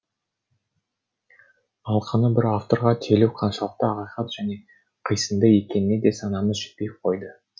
алқаны бір авторға телу қаншалықты ақиқат және қисынды екеніне де санамыз жетпей қойды